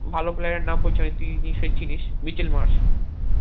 ভালো player এর নাম বলছি আমি তুই নিশ্চই চিনিস মিকেল মার্স